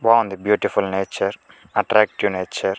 బాగుంది beautiful nature attractive nature .